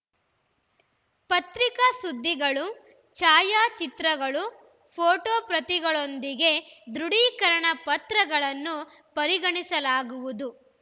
ಪತ್ರಿಕಾ ಸುದ್ದಿಗಳು ಛಾಯಾಚಿತ್ರಗಳು ಫೋಟೋ ಪ್ರತಿಗಳೊಂದಿಗೆ ದೃಢೀಕರಣ ಪತ್ರಗಳನ್ನು ಪರಿಗಣಿಸಲಾಗುವುದು